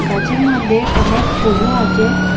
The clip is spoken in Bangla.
গাছের মধ্যে অনেক ফুলও আচে।